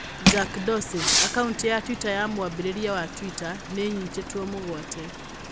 Jack Dorsey: Akaunti ya Twitter ya mwambĩrĩria wa Twitter nĩ nyitĩtwo migwate.